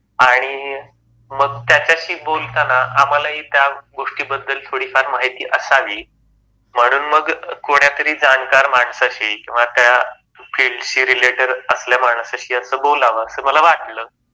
आणि मग त्याच्याशी बोलताना आम्हाला ही त्या गोष्टी बद्दल थोडी फार माहिती असावी, म्हणून मग कोण्यातरी जाणकार माणसाशी किंवा त्या फील्डशी रीलेटिड असल्या माणसाशी अस बोलाव अस मला वाटल.